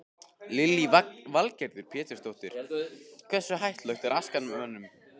Lillý Valgerður Pétursdóttir: Hversu hættuleg er askan mönnum?